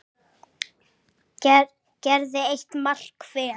gerði eitt mark hver.